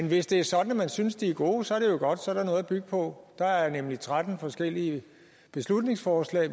hvis det er sådan at man synes de er gode så er det jo godt så er der noget at bygge på der er nemlig tretten forskellige beslutningsforslag